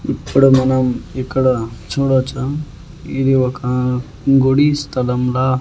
ఇప్పుడు మనం ఇక్కడ చూడొచ్చు ఇది ఒక గుడి స్థలంలా--